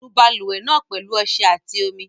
Nu balùwẹ̀ náà pẹ̀lú ọṣẹ àti omi.